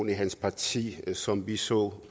i hans parti som vi så